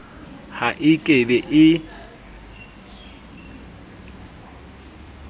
ha e ke be e